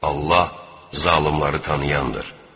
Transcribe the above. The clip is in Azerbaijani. Allah zalımları tanıyandır.